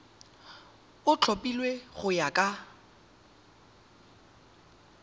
o tlhophilweng go ya ka